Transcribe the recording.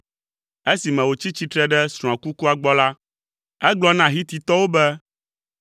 Esime wòtsi tsitre ɖe srɔ̃a kukua gbɔ la, egblɔ na Hititɔwo be,